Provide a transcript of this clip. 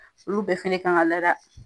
Olu bɛ fɛnɛ kan ga lada.